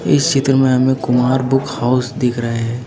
इस चित्र में हमें कुमार बुक हाउस दिख रहे है।